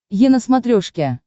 е на смотрешке